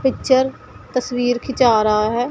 Picture तस्वीर खींचा रहा है।